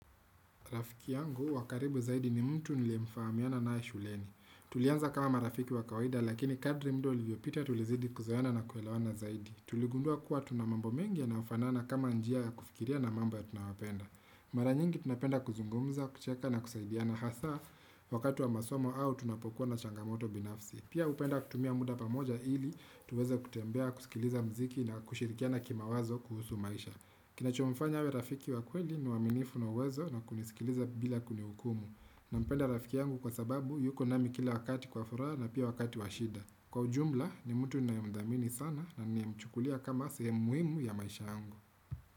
Rafiki yangu, wa karibu zaidi ni mtu niliyemfahamiana naye shuleni. Tulianza kama marafiki wa kawaida, lakini kadri mda ulivyopita tulizidi kuzoeana na kuelewana zaidi. Tuligundua kuwa tuna mambo mengi yanayofanana kama njia ya kufikiria na mambo ya tunayopenda. Mara nyingi tunapenda kuzungumza, kucheka na kusaidiana hasa wakati wa masomo au tunapokuwa na changamoto binafsi. Pia hupenda kutumia muda pamoja ili, tuweze kutembea, kusikiliza mziki na kushirikiana kimawazo kuhusu maisha. Kinachomfanya awe rafiki wa kweli ni uaminifu na uwezo na kunisikiliza bila kunihukumu Nampenda rafiki yangu kwa sababu yuko nami kila wakati kwa furaha na pia wakati wa shida Kwa ujumla ni mtu ninayemthamini sana na nimemchukulia kama sehemu muhimu ya maisha yangu.